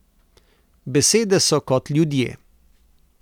Besede so kot ljudje.